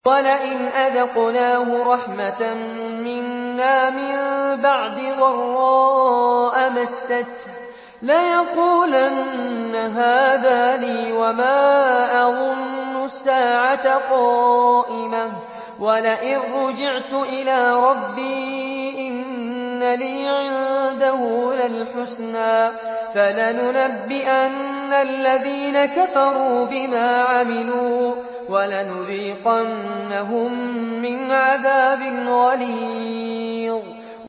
وَلَئِنْ أَذَقْنَاهُ رَحْمَةً مِّنَّا مِن بَعْدِ ضَرَّاءَ مَسَّتْهُ لَيَقُولَنَّ هَٰذَا لِي وَمَا أَظُنُّ السَّاعَةَ قَائِمَةً وَلَئِن رُّجِعْتُ إِلَىٰ رَبِّي إِنَّ لِي عِندَهُ لَلْحُسْنَىٰ ۚ فَلَنُنَبِّئَنَّ الَّذِينَ كَفَرُوا بِمَا عَمِلُوا وَلَنُذِيقَنَّهُم مِّنْ عَذَابٍ غَلِيظٍ